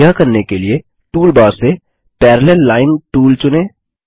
यह करने के लिए टूलबार से पैरालेल लाइन टूल चुनें